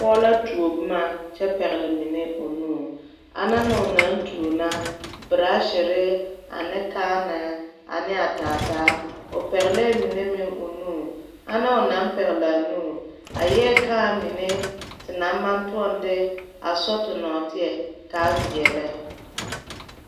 Pɔgɔ la tuo boma a kyɛ pɛgle mene o nu. Ana ne o naŋ tuo naŋ, burashere, ane kaãnɛ, ane a taataa. O pɛgle mene meŋ o nu. Ana o naŋ pɛgle a nu, a eɛ kaã mene te na maŋ tuoŋ de a sɔ te norteɛ kaa viɛlɛ